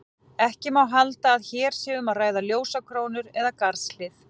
Ekki má halda að hér sé um að ræða ljósakrónur eða garðshlið.